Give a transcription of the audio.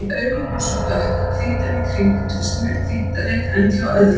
Augun voru svo dökk að hvítan í kring virtist mun hvítari en hjá öðrum.